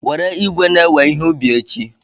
Were igwe na-ewe ihe ubi echi.